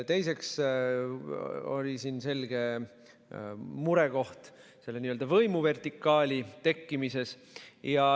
Teiseks oli selge murekoht n‑ö võimuvertikaali tekkimises.